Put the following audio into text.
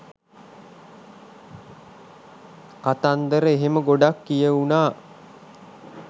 කතන්දර එහෙම ගොඩක් කියවුනා.